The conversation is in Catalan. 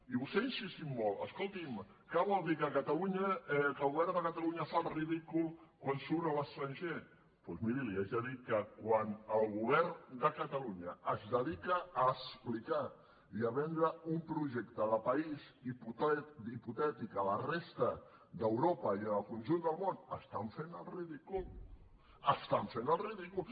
i vostè hi ha insistit molt escolti’m què vol dir que el govern de catalunya fa el ridícul quan surt a l’estranger doncs miri li haig de dir que quan el govern de catalunya es dedica a explicar i a vendre un projecte de país hipotètic a la resta d’europa i al conjunt del món estan fent el ridícul estan fent el ridícul